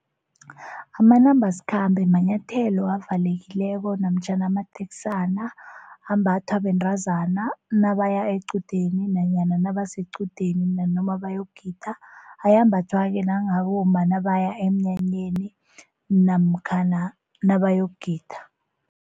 Amanambasikhambe manyathelo avalekileko namtjhana amateksana ambathwa bentazana nabaya equdeni nanyana nabasequdeni nanoma bayokugida ayambathwa-ke nabomma nabaya emnyanyeni namkhana nabayokugida.